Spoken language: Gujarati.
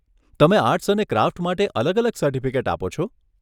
તમે આર્ટસ અને ક્રાફ્ટ માટે અલગ અલગ સર્ટિફિકેટ આપો છો?